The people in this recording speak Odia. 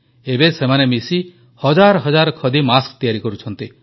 ଏବେ ସେମାନେ ମିଶି ହଜାର ହଜାର ଖଦୀ ମାସ୍କ ତିଆରି କରୁଛନ୍ତି